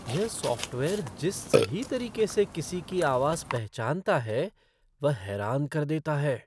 यह सॉफ़्टवेयर जिस सही तरीके से किसी की आवाज़ पहचानता है वह हैरान कर देता है।